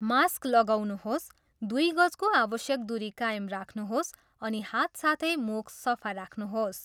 Mask लगाउनुहोस्, दुइ गजको आवश्यक दुरी कायम राख्नुहोस् अनि हात साथै मुख सफा राख्नुहोस्।